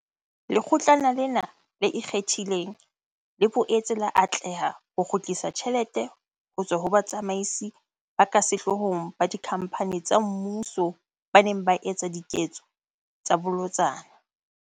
Lekgotlana lena le ikgethileng, le boetse la atleha ho kgutlisa tjhelete ho tswa ho batsamaisi ba ka sehloohong ba dikhamphane tsa mmuso ba neng ba etsa diketso tsa bolotsana.